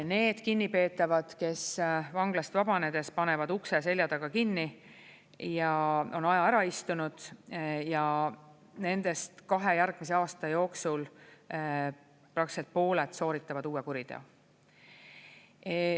Need kinnipeetavad, kes vanglast vabanedes panevad ukse selja taga kinni ja on aja ära istunud, nendest kahe järgmise aasta jooksul praktiliselt pooled sooritavad uue kuriteo.